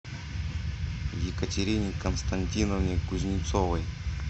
екатерине константиновне кузнецовой